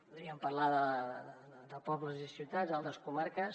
podríem parlar de pobles i ciutats d’altres comarques